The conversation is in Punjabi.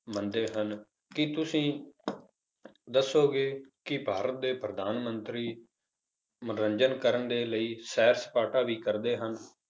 ਮੰਨਦੇ ਹਨ, ਕੀ ਤੁਸੀਂ ਦੱਸੋਗੇ ਕਿ ਭਾਰਤ ਦੇ ਪ੍ਰਧਾਨ ਮੰਤਰੀ ਮਨੋਰੰਜਨ ਕਰਨ ਦੇ ਲਈ ਸੈਰ ਸਪਾਟਾ ਵੀ ਕਰਦੇ ਹਨ?